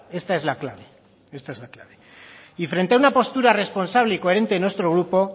esta es la clave y frente a una postura responsable y coherente de nuestro grupo